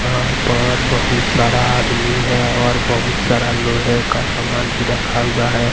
वहां पर बहुत सारा आदमी है और बहुत सारा लोहे का सामान भी रखा हुआ है।